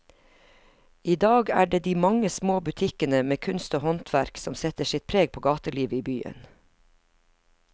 I dag er det de mange små butikkene med kunst og håndverk som setter sitt preg på gatelivet i byen.